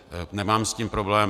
Nemám s tím problém.